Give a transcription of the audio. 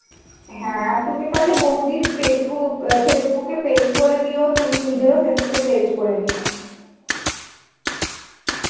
হ্যাঁ তুমি পারলে বৌদির pagebook আ Facebook এ page করে দিও তুমি নিজের ও Facebook এ page করে নিও